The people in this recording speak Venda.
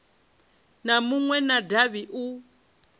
na munwe wa davhi u